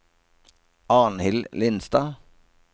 Arnhild Lindstad